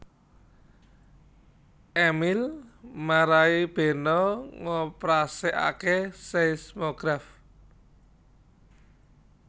Emil marai Beno ngoprasikake seismograf